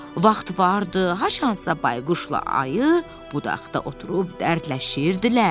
Vaxt vardı, haçansa bayquşla ayı budaqda oturub dərdləşirdilər.